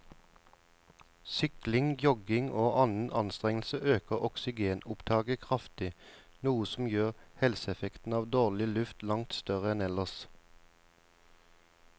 Sykling, jogging og annen anstrengelse øker oksygenopptaket kraftig, noe som gjør helseeffekten av dårlig luft langt større enn ellers.